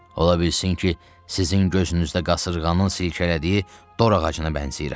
Ola bilsin ki, sizin gözünüzdə qasırğanın silkələdiyi dor ağacına bənzəyirəm.